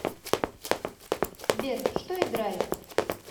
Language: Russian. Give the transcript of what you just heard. сбер что играет